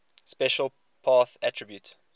special path attribute